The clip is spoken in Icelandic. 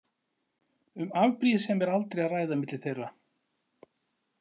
Um afbrýðisemi er aldrei að ræða milli þeirra.